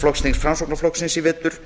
flokksþings framsóknarflokksins í vetur